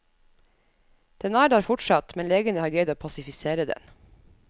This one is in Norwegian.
Den er der fortsatt, men legene har greid å pasifisere den.